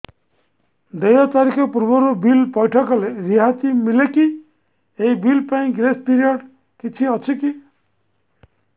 ଦେୟ ତାରିଖ ପୂର୍ବରୁ ବିଲ୍ ପୈଠ କଲେ ରିହାତି ମିଲେକି ଏହି ବିଲ୍ ପାଇଁ ଗ୍ରେସ୍ ପିରିୟଡ଼ କିଛି ଅଛିକି